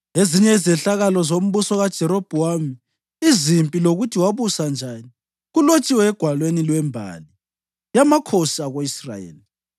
Ezinye izehlakalo zombuso kaJerobhowamu, izimpi lokuthi wabusa njani, kulotshiwe egwalweni lwembali yamakhosi ako-Israyeli.